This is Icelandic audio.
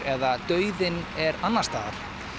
eða dauðinn er annars staðar